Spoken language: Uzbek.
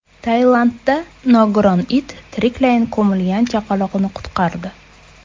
Tailandda nogiron it tiriklayin ko‘milgan chaqaloqni qutqardi.